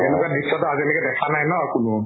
এনেকুৱা দৃশ্য়টো আজিলৈকে দেখা নাই ন কোনো